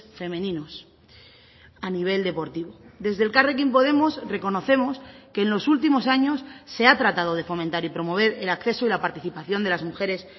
femeninos a nivel deportivo desde elkarrekin podemos reconocemos que en los últimos años se ha tratado de fomentar y promover el acceso y la participación de las mujeres